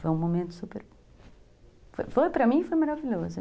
Foi um momento super... Foi para mim, foi maravilhoso.